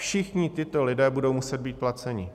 Všichni tito lidé budou muset být placeni.